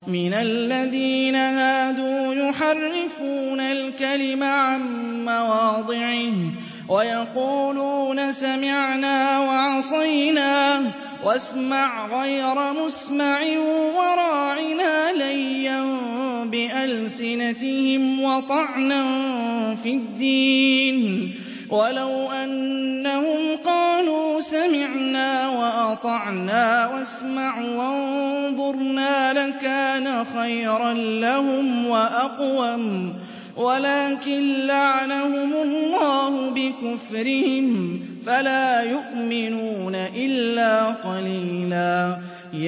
مِّنَ الَّذِينَ هَادُوا يُحَرِّفُونَ الْكَلِمَ عَن مَّوَاضِعِهِ وَيَقُولُونَ سَمِعْنَا وَعَصَيْنَا وَاسْمَعْ غَيْرَ مُسْمَعٍ وَرَاعِنَا لَيًّا بِأَلْسِنَتِهِمْ وَطَعْنًا فِي الدِّينِ ۚ وَلَوْ أَنَّهُمْ قَالُوا سَمِعْنَا وَأَطَعْنَا وَاسْمَعْ وَانظُرْنَا لَكَانَ خَيْرًا لَّهُمْ وَأَقْوَمَ وَلَٰكِن لَّعَنَهُمُ اللَّهُ بِكُفْرِهِمْ فَلَا يُؤْمِنُونَ إِلَّا قَلِيلًا